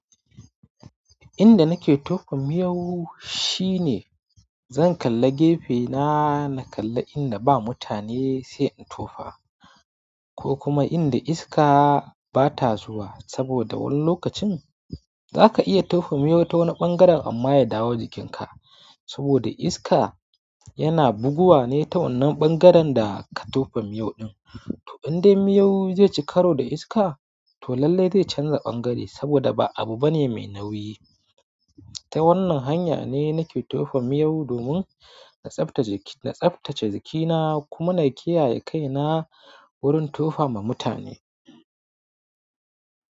Inda nake tofa miyau shine zan kalla gefe na, na kalla inda ba mutane sai in tofa ko kuma inda iska bata zuwa. Saboda wani lokacin zaka iya tofa miyau ta wani ɓangaren amma ya dawo jikinka saboda iska yana buguwa ne ta wannan ɓangaren da ka tofa miyau ɗin. To inde miyau zaici karo da iska, to lallai zai canza ɓangare saboda ba abu bane me nauyi ta wannan hanya ne nake tofa miyau domin na tsaftace jikina kuma na kiyaye kaina wurin tofa ma mutane.